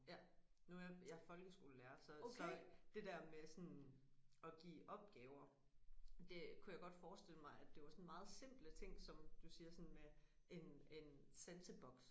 Ja nu er jeg jeg er folkeskolelærer så så det der med sådan at give opgaver det kunne jeg godt forestille mig at det var sådan meget simple ting som du siger sådan med en en sanseboks